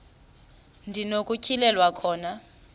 ndi nokutyhilelwa khona